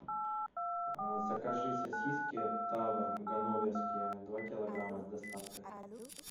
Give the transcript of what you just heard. закажи сосиски тавр ганноверские два килограмма с доставкой